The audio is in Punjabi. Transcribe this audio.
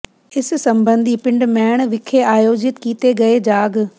ਇਸ ਸਬੰਧੀ ਪਿੰਡ ਮੈਣ ਵਿਖੇ ਆਯੋਜਿਤ ਕੀਤੇ ਗਏ ਜਾਗ